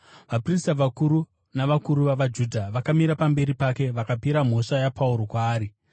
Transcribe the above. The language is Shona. vaprista vakuru navakuru vavaJudha vakamira pamberi pake vakapira mhosva yaPauro kwaari.